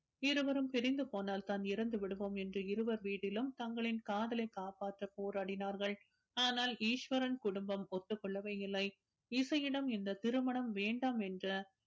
இருவரும் பிரிந்து போனால்தான் இறந்து விடுவோம் என்று இருவர் வீட்டிலும் தங்களின் காதலை காப்பாற்ற போராடினார்கள் ஆனால் ஈஸ்வரன் குடும்பம் ஒத்துக்கொள்ளவே இல்லை இசையிடம் இந்த திருமணம் வேண்டாம் என்று